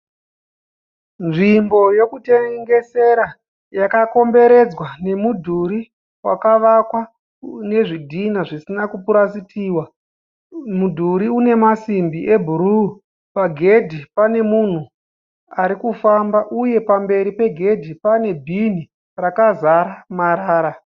Nzvimbo yekutengesera yakakomberedzwa nemudhuri wakavakwa nezvidhina zvisina kupurasitiwa. Mudhuri une masimbi ebhuruu. Pagedhi pane munhu arikufamba uye pamberi pegedhi pane bhinhi rakazara marara.